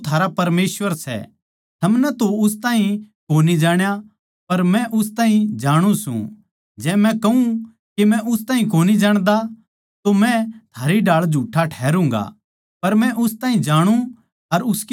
थमनै तो उस ताहीं कोनी जाण्या पर मै उस ताहीं जाणु सूं जै मै कहूँ के मै उस ताहीं कोनी जाण्दा तो मै थारी ढाळ झूठा ठहरूँगा पर मै उस ताहीं जाणु अर उसके वचनां नै मान्नु सूं